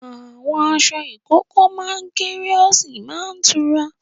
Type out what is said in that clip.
Àwọn aṣọ ìkókó máa ń kéré ó sì máa tura.